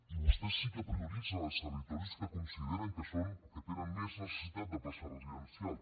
i vostès sí que prioritzen els territoris que consideren que són o que tenen més necessitat de plaça residencial